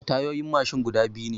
Tayoyin mashin guda biyu ne.